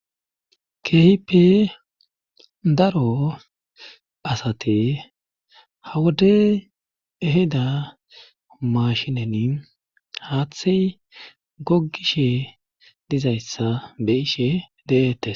Keehipe daro asate hawode eheda mashinen haaththey gogishe dizayssa be ishe deette